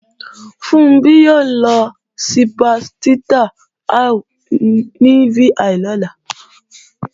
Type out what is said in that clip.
Funbí ó lọ sípà Tirta Ayu ní VI lọ́la